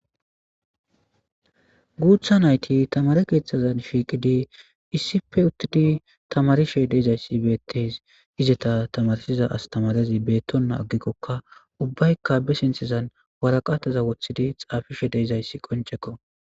guutha nayti tamare keeththazan shiiqidi issife uttidi tamarishe deezayssi beettes izeta tamarshiza astamarazi beettonna aggikkokka ubbaykka be sinththezan waraqataza woththidi xaafishe deezayssi qonchekko